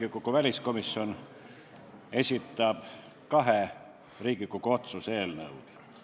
Riigikogu väliskomisjon esitab kahe Riigikogu otsuse eelnõud.